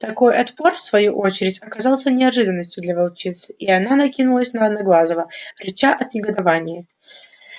такой отпор в свою очередь оказался неожиданностью для волчицы и она накинулась на одноглазого рыча от негодования